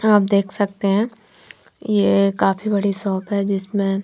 आप देख सकते है ये काफी बड़ी शॉप है जिसमे--